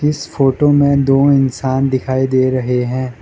इस फोटो में दो इंसान दिखाई दे रहे हैं।